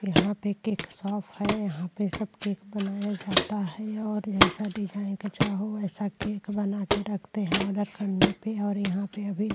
यहाँ पे cake shop है। यहाँ पे सब केक बनाया जाता है और जैसा डिज़ाइन चाहो वैसा केक बनाके रखते हैं आर्डर करने पे और यहाँ पर अभी --